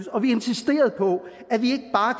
og vi insisterede på